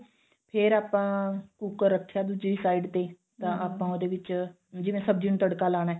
ਫਿਰ ਆਪਾਂ ਕੁੱਕਰ ਰੱਖਿਆ ਦੂਜੀ side ਤੇ ਤਾਂ ਆਪਾਂ ਉਹਦੇ ਵਿੱਚ ਜਿਵੇਂ ਸਬਜੀ ਨੂੰ ਤੜਕਾ ਲਾਉਣਾ